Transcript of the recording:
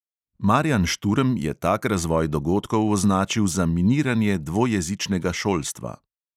Marjan šturm je tak razvoj dogodkov označil za miniranje dvojezičnega šolstva.